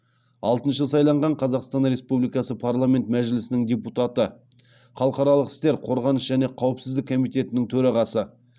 алтыншы сайланған қазақстан республикасы парламенті мәжілісінің депутаты халықаралық істер қорғаныс және қауіпсіздік комитетінің төрағасы